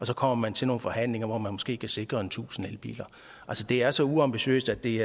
så kommer til nogle forhandlinger hvor man måske kan sikre tusind elbiler at det er så uambitiøst at det